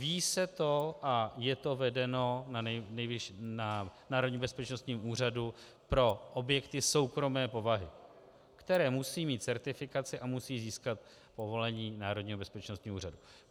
Ví se to a je to vedeno na Národním bezpečnostním úřadu pro objekty soukromé povahy, které musí mít certifikaci a musí získat povolení Národního bezpečnostního úřadu.